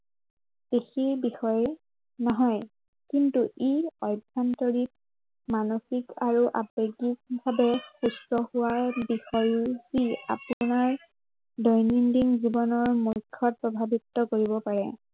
নহয়, কিন্তু ই আভ্য়ন্তৰিক, মানসিক আৰু আৱেগিক ভাৱে সুস্থ হোৱাৰ বিষয়ো ই আপোনাৰ দৈনন্দিন জীৱনৰ মুখ্য়ত প্ৰভাৱিত কৰিব পাৰে।